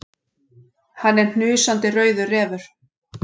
Hann er hnusandi rauður refur.